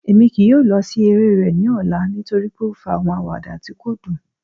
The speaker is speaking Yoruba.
Emi kii yoo lọ si ere rẹ ni ọla nitori pe o fa awọn awada ti ko dun